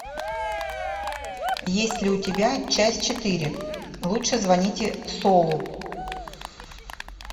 есть ли у тебя часть четыре лучше звоните солу